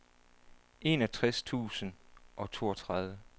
enogtres tusind og toogtredive